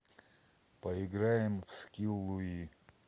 поиграем в скилл луи